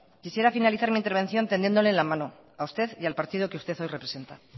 quisiera finalizar mi intervención tendiéndole la mano a usted y al partido que usted hoy representa